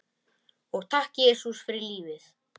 Og takk, Jesús, fyrir lífið.